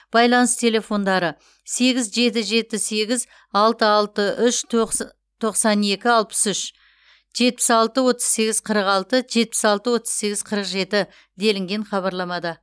байланыс телефондары сегіз жеті жеті сегіз алты алты үш тоқс тоқсан екі алпыс үш жетпіс алты отыз сегіз қырық алты жетпіс алты отыз сегіз қырық жеті делінген хабарламада